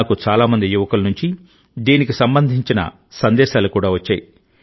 నాకు చాలా మంది యువకుల నుంచి దీనికి సంబంధించిన సందేశాలు కూడా వచ్చాయి